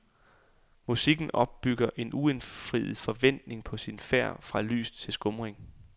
Musikken opbygger en uindfriet forventning på sin færd fra lys til skumring.